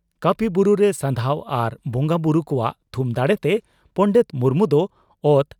ᱠᱟᱹᱯᱤ ᱵᱩᱨᱩᱨᱮ ᱥᱟᱫᱷᱟᱣ ᱟᱨ ᱵᱚᱸᱜᱟ ᱵᱩᱨᱩ ᱠᱚᱣᱟᱜ ᱛᱷᱩᱢ ᱫᱟᱲᱮᱛᱮ ᱯᱚᱸᱰᱮᱛ ᱢᱩᱨᱢᱩ ᱫᱚ ᱚᱛ